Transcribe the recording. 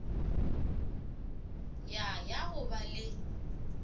ya ya go ba le